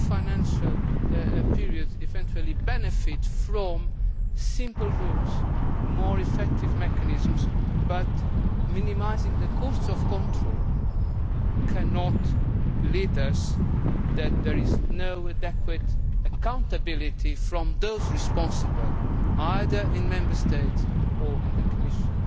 The new financial period may eventually benefit from simple rules and more effective mechanisms, but minimising the costs of control cannot lead to there being no adequate accountability from those responsible either in Member States or in the Commission